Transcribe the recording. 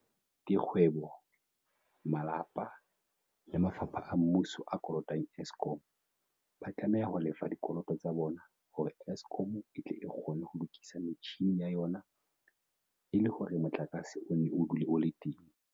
Dikgwe bo, malapa le mafapha a mmuso a kolotang Eskom, ba tlameha ho lefa dikoloto tsa bona hore Eskom e tle e kgone ho lokisa metjhini ya yona e le hore motlakase o nne o dule o le teng.